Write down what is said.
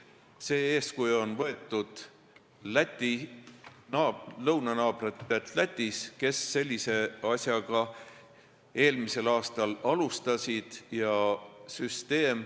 Oleme eeskuju võtnud lõunanaabrilt Lätilt, kes sellise asjaga eelmisel aastal alustas.